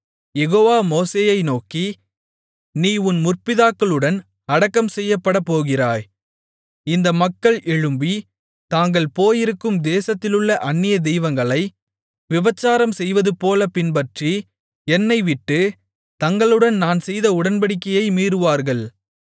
யெகோவா மோசேயை நோக்கி நீ உன் முற்பிதாக்களுடன் அடக்கம் செய்யப்படப் போகிறாய் இந்த மக்கள் எழும்பி தாங்கள் போயிருக்கும் தேசத்திலுள்ள அந்நிய தெய்வங்களை விபசாரம் செய்வதுபோலப் பின்பற்றி என்னைவிட்டு தங்களுடன் நான் செய்த உடன்படிக்கையை மீறுவார்கள்